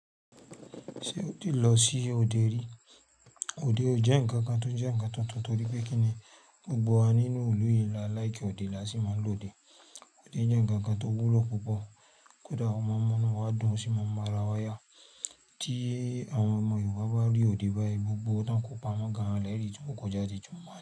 Ṣé ó ti lọ sí òde rí? Òde ò jẹ́ ǹkan kan tó jẹ́ ǹkan tuntun torí pé kí ni? Gbogbo wa nínú ìlú yìí la láì kí òde láti máa lòde. Òde jẹ́ ǹkan kan tó wúlò púpọ̀. Kódà àwọn ọmọ ọmọ náà wá dùn ó sì máa ń ba ara wa yá. Tí àwọn ọmọ Yorùbá bá rí òde báyìí, gbogbo wọn kò pamọ́ gan lẹ́yìn tí wọn kò jáde ju máàní.